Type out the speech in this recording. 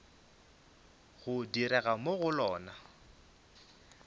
go direga mo go lona